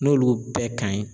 N'olu bɛɛ ka ɲi